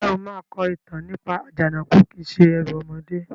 Ǹjẹ́ o máa kọ ìtàn nípa "Àjànàkú kìí se ẹrù ọmọdé"?